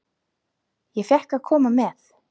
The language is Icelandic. Ég fékk að koma með.